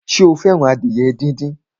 Sọ fẹ́ràn adìyẹ díndín?